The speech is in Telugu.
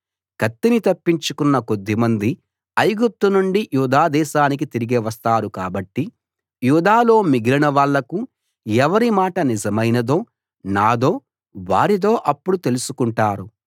కత్తిని తప్పించుకున్న కొద్దిమంది ఐగుప్తు నుండి యూదా దేశానికి తిరిగి వస్తారు కాబట్టి యూదాలో మిగిలిన వాళ్లకు ఎవరి మాట నిజమైనదో నాదో వారిదో అప్పడు తెలుసుకుంటారు